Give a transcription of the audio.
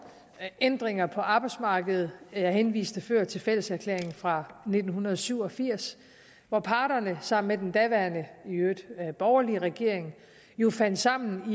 ændringer på arbejdsmarkedet jeg henviste før til fælleserklæringen fra nitten syv og firs hvor parterne sammen med den daværende i øvrigt borgerlige regering jo fandt sammen